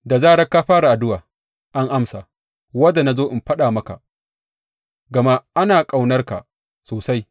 Da zarar ka fara addu’a, an amsa, wadda na zo in faɗa maka, gama ana ƙaunar ka sosai.